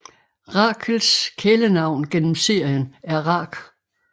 Rachels kælenavn gennem serien er Rach